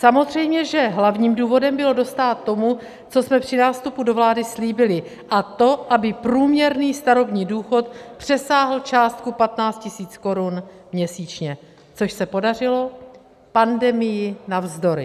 Samozřejmě, že hlavním důvodem bylo dostát tomu, co jsme při nástupu do vlády slíbili, a to aby průměrný starobní důchod přesáhl částku 15 000 korun měsíčně, což se podařilo pandemii navzdory.